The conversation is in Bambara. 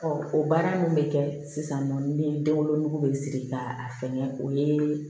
o baara min bɛ kɛ sisan nɔ ni den wolonugu bɛ siri ka fɛn kɛ o ye